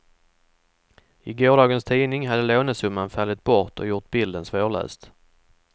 I gårdagens tidning hade lånesumman fallit bort och gjort bilden svårläst.